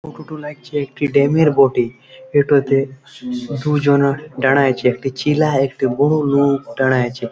ফটোটা লাগছে একটি ড্যামের বটি। এটাতে দুজনা দাড়াইছে একটি ছেলা একটি বউ লোক দাঁড়াইছে।